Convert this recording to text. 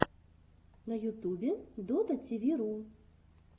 на ютубе дотативиру